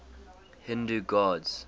hindu gods